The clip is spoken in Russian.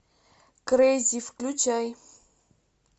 крейзи включай